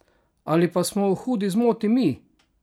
Ali pa smo v hudi zmoti mi?